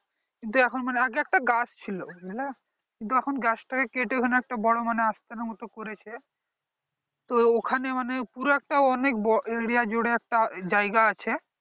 কিন্তু এখন মানে আগে একটা গাছ ছিল বুঝলে কিন্তু এখন গাছটা কে কেটে ওখানে বড়ো মানে আস্থানে মতন করেছে তো ওখানে মানে পুরো একটা অনেক বড়ো area জুড়ে একটা জায়গা আছে